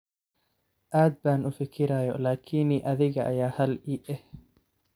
Aad baan ufikirayo lkni adhiga aya hal ii eh.